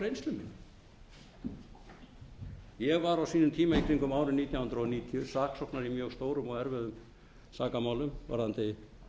reynslu minni ég var á sínum tíma í kringum árið nítján hundruð níutíu saksóknari í mjög stórum og erfiðum sakamálum varðandi